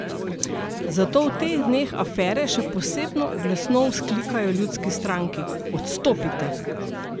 Zato v teh dneh afere še posebno glasno vzklikajo Ljudski stranki: "Odstopite!